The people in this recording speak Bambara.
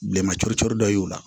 Bilenman cori cori dɔ y'o la